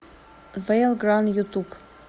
вэйл гран ютуб